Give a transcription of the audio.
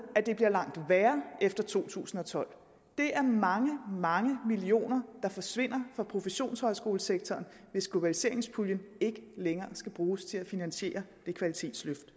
at det bliver langt værre efter to tusind og tolv det er mange mange millioner der forsvinder fra professionshøjskolesektoren hvis globaliseringspuljen ikke længere skal bruges til at finansiere kvalitetsløftet